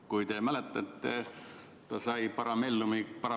" Kui te mäletate, siis ta sai parabellumiga kuklalasu.